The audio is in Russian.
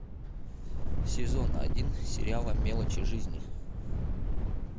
сезон один сериала мелочи жизни